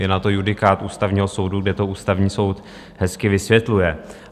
Je na to judikát Ústavního soudu, kde to Ústavní soud hezky vysvětluje.